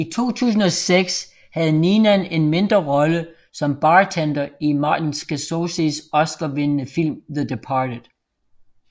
I 2006 havde Neenan en mindre rolle som bartender i Martin Scorseses oscarvindende film The Departed